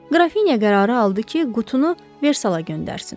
Qrafinya qərarı aldı ki, qutunu Versala göndərsin.